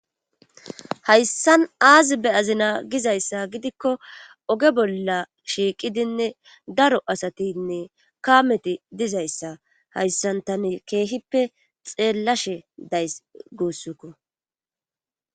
hayssan aazibe azina gizayssa gidikko oge bolla shiiqidinne daro asatinne kaameti dizayssa hayssan tani keehippe xeellashe days guussukko